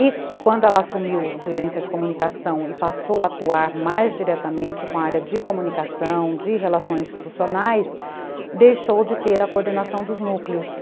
E quando ela assumiu gerência de comunicação e passou a atuar mais diretamente com a área de comunicação, de relações institucionais, deixou de ter a coordenação dos núcleos.